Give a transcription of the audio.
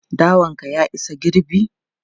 Dawan ka ya isa girbi?